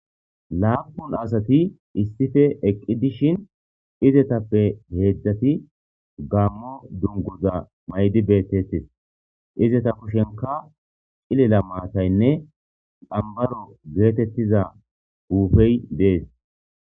laaf ppun asati issipe eqqi dishin izetappe heedzdzati gammo dungoza maydi beettettes izeta kushenka cilila maataynne ambaro geetettiza huufey de7es